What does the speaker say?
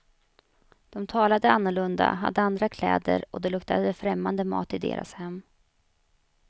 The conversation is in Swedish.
De talade annorlunda, hade andra kläder och det luktade främmande mat i deras hem.